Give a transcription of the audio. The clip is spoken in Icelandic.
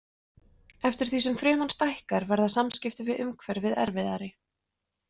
Eftir því sem fruman stækkar verða samskipti við umhverfið erfiðari.